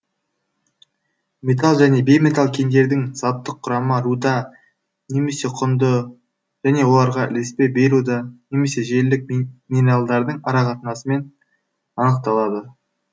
металл және бейметалл кендердің заттық құрамы руда немесе құнды және оларға ілеспе бейруда немесе желілік минералдардың ара қатынасымен анықталады